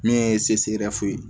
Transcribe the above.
Min ye ye